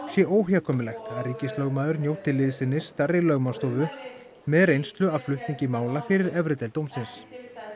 sé óhjákvæmilegt að ríkislögmaður njóti liðsinnis stærri lögmannsstofu með reynslu af flutningi mála fyrir efri deild dómsins